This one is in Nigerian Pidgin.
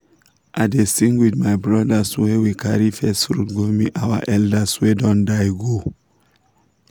i dey sing with my brothers when we carry first fruit go meet our elders wey don die go.